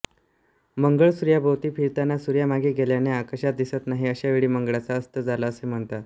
मंगळ सूर्याभोवती फिरताना सूर्यामागे गेल्याने आकाशात दिसत नाही अशावेळी मंगळाचा अस्त झाला असे म्हणतात